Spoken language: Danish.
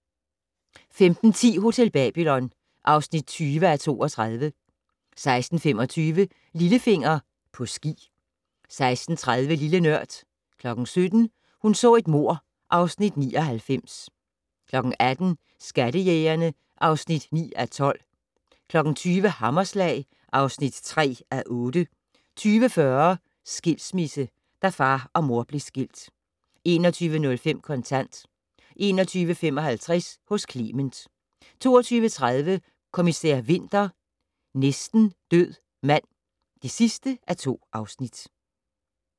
15:10: Hotel Babylon (20:32) 16:25: Lillefinger - På ski 16:30: Lille Nørd 17:00: Hun så et mord (Afs. 99) 18:00: Skattejægerne (9:12) 20:00: Hammerslag (3:8) 20:40: Skilsmisse - da far og mor blev skilt 21:05: Kontant 21:55: Hos Clement 22:30: Kommissær Winter: Næsten død mand (2:2)